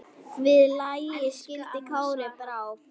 Við lagi skildi Kári brá.